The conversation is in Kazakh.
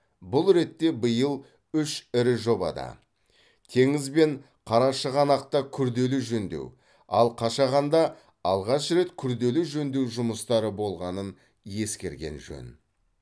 бұл ретте биыл үш ірі жобада теңіз бен қарашығанақта күрделі жөндеу ал қашағанда алғаш рет күрделі жөндеу жұмыстары болғанын ескерген жөн